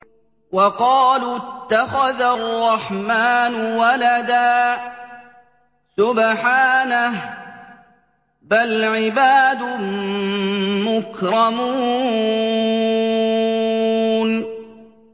وَقَالُوا اتَّخَذَ الرَّحْمَٰنُ وَلَدًا ۗ سُبْحَانَهُ ۚ بَلْ عِبَادٌ مُّكْرَمُونَ